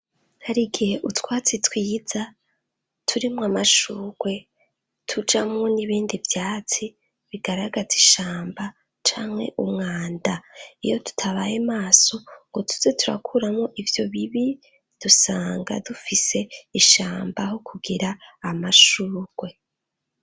Hari igihe utwatsi twiza turimo amashugwe tujamo n'ibindi vyatsi bigaragatza ishamba canke umwanda iyo tutabaye maso ngo tuze turakuramo ivyo bibi dusanga dufise ishamba ho kugira amashugwe.